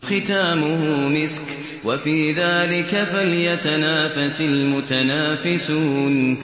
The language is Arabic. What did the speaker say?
خِتَامُهُ مِسْكٌ ۚ وَفِي ذَٰلِكَ فَلْيَتَنَافَسِ الْمُتَنَافِسُونَ